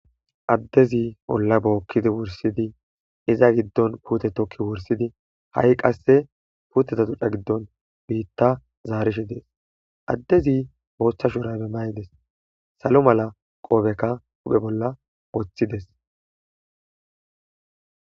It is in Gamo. addezi bolla bookkidi wursidi iza giddon puute tokki wursidi ha7i qasse puuteta duca giddon biitta zaarishi dees addezi booththa shurabe maydes salo mala qoobekka uphe bolla woththides